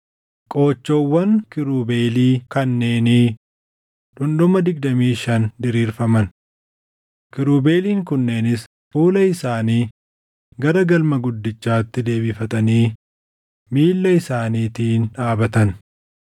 Qoochoowwan kiirubeelii kanneenii dhundhuma digdamii shan diriirfaman. Kiirubeeliin kunneenis fuula isaanii gara galma guddichaatti deebifatanii miilla isaaniitiin dhaabatan.